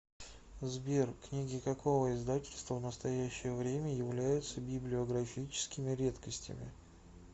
сбер книги какого издательства в настоящее время являются библиографическими редкостями